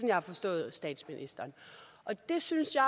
jeg har forstået statsministeren og det synes jeg